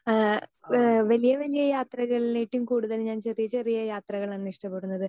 Speaker 2 ആഹ് ഇഹ് വലിയ വലിയ യാത്രകളേട്ടിലും കൂടുതൽ ഞാൻ ചെറിയ ചെറിയ യാത്രകളാണ് ഇഷ്ടപ്പെടുന്നത്.